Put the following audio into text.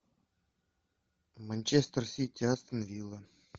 манчестер сити астон вилла